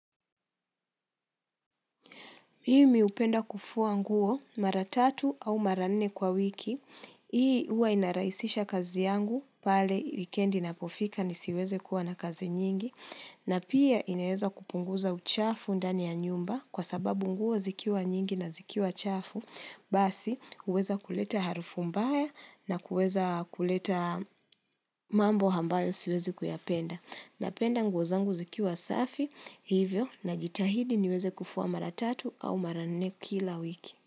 Mimi hupenda kufuwa nguo mara tatu au mara nne kwa wiki, hii huwa inaraisisha kazi yangu pale wikendi inapofika nisiweze kuwa na kazi nyingi, na pia inaeza kupunguza uchafu ndani ya nyumba kwa sababu nguo zikiwa nyingi na zikiwa chafu, basi uweza kuleta harufu mbaya na kuweza kuleta mambo ambayo siwezi kuyapenda. Napenda nguo zangu zikiwa safi, hivyo na jitahidi niweze kuvua mara tatu au mara nne kila wiki.